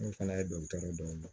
N'o fana ye dɔkitɛriw dɔn